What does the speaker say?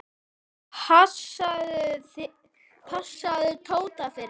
Passaðu Tóta fyrir mig.